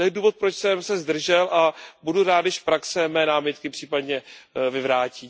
To je důvod, proč jsem se zdržel, a budu rád, když praxe mé námitky případně vyvrátí.